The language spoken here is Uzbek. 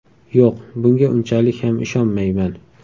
Yo‘q, bunga unchalik ham ishonmayman.